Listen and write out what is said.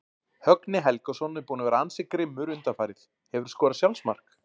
Högni Helgason er búinn að vera ansi grimmur undanfarið Hefurðu skorað sjálfsmark?